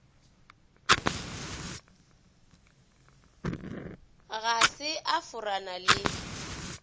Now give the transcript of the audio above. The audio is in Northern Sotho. ga se a forana le